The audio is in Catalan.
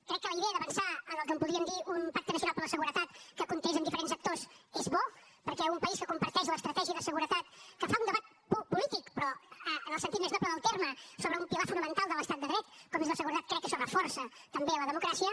crec que la idea d’avançar en el que en podríem dir un pacte nacional per a la seguretat que comptés amb diferents actors és bo perquè un país que comparteix l’estratègia de seguretat que fa un debat polític però en el sentit més noble del terme sobre un pilar fonamental de l’estat de dret com és la seguretat crec que això reforça també la democràcia